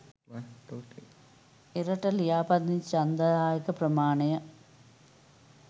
එරට ලියාපදිංචි ඡන්දදායක ප්‍රමාණය